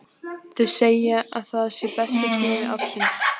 Þau segja að það sé besti tími ársins.